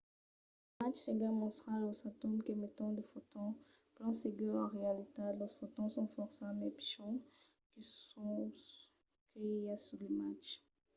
l'imatge seguent mòstra los atòms qu'emeton de fotons. plan segur en realitat los fotons son fòrça mai pichons que los que i a sus l'imatge